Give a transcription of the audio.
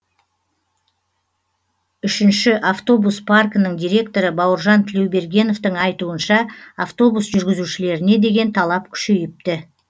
үшінші автобус паркінің директоры бауыржан тілеубергеновтің айтуынша автобус жүргізушілеріне деген талап күшейіпті